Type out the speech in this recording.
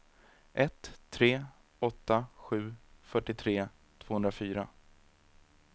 ett tre åtta sju fyrtiotre tvåhundrafyra